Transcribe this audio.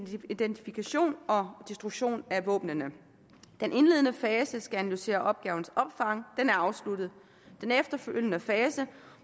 identifikation og destruktion af våbnene den indledende fase der skal analysere opgavens omfang er afsluttet den efterfølgende fase